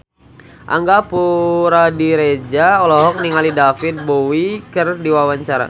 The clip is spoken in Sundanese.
Angga Puradiredja olohok ningali David Bowie keur diwawancara